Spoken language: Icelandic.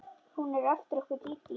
Hún er eftir okkur Dídí.